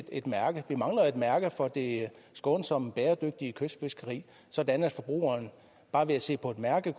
et mærke vi mangler et mærke for det skånsomme bæredygtige kystfiskeri sådan at forbrugeren bare ved at se på et mærke